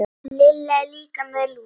Lilla er líka með lús.